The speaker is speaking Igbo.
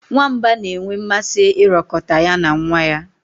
Nwamba na-enwe mmasị ịrọkọta ya na nwa ya.